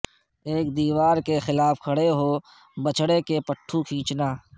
ایک دیوار کے خلاف کھڑے ہو بچھڑے کے پٹھوں کھینچنا